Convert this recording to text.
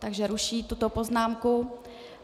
Takže ruší tuto poznámku.